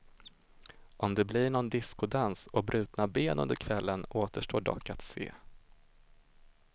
Om det blir någon discodans och brutna ben under kvällen återstår dock att se.